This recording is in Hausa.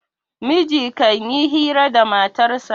miji kan yi hira da matarsa